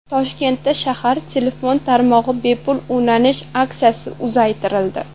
Toshkentda shahar telefon tarmog‘iga bepul ulanish aksiyasi uzaytirildi.